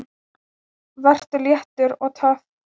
Vertu léttur. og töff!